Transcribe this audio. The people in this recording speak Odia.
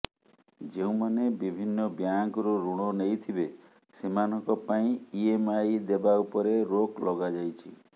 ଯେଉଁମାନେ ବିଭିନ୍ନ ବ୍ୟାଙ୍କରୁ ଋଣ ନେଇଥିବେ ସେମାନଙ୍କ ପାଇଁ ଇଏମଆଇ ଦେବା ଉପରେ ରୋକ ଲଗାଯାଇଛି